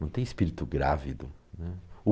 Não tem espírito grávido, né.